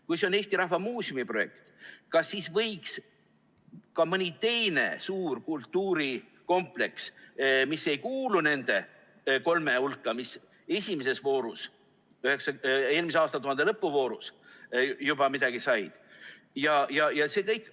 Kui see on Eesti Rahva Muuseumi projekt, kas siis võiks ka mõni teine suur kultuurikompleks, mis ei kuulu nende kolme hulka ja mis esimeses voorus, eelmise aastatuhande lõppvoorus juba midagi said,?